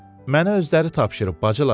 Mənə özləri tapşırıb bacılar.